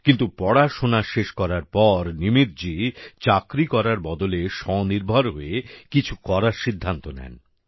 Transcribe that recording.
কিন্তু পড়াশোনা শেষ করার পর নিমিতজী চাকরি করার বদলে স্বনির্ভর হয়ে কিছু কিরার সিদ্ধান্ত নেন